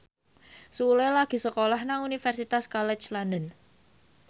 Sule lagi sekolah nang Universitas College London